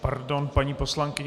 Pardon, paní poslankyně.